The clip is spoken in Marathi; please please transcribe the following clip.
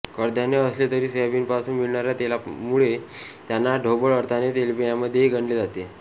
कडधान्य असले तरी सोयाबीनपासून मिळणाऱ्या तेलामुळे त्यांना ढोबळ अर्थाने तेलबियांमध्येही गणले जाते